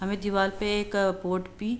हमें दीवाल पे एक पोर्ट पी --